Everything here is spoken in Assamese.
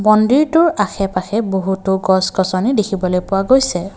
মন্দিৰটোৰ আশে পাশে বহুতো গছ গছনি দেখিবলৈ পোৱা গৈছে।